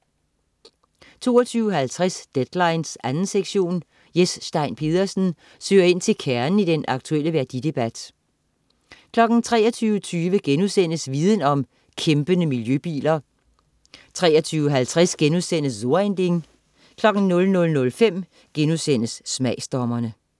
22.50 Deadline 2. sektion. Jes Stein Pedersen søger ind til kernen i den aktuelle værdidebat 23.20 Viden om: Kæmpende miljøbiler* 23.50 So ein Ding* 00.05 Smagsdommerne*